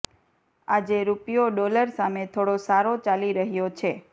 આજે રૂપિયો ડોલર સામે થોડો સારો ચાલી રહ્યો છે